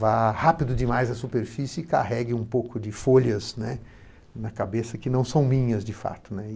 vá rápido demais à superfície e carregue um pouco de folhas, né, na cabeça que não são minhas, de fato.